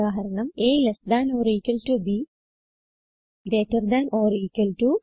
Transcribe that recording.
ഉദാഹരണം160 a lt b greater than or equal to